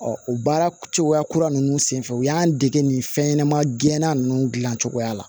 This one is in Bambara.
o baara cogoya kura ninnu senfɛ u y'an dege nin fɛnɲɛnɛma dilanan ninnu dilancogoya la